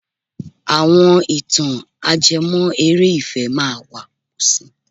Àwọn ìtàn ajẹmọ́ eré ìfẹ́ máa wà si.